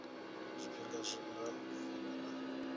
zwifhinga zwa u vula na